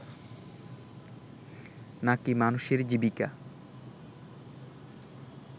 না কি মানুষের জীবিকা